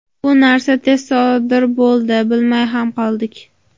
Bu narsa tez sodir bo‘ldi bilmay ham qoldik.